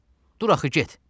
Dur axı get!